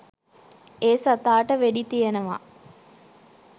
ඒ සතාට වෙඩිතියනවා